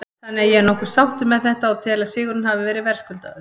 Þannig að ég er nokkuð sáttur með þetta og tel að sigurinn hafi verið verðskuldaður.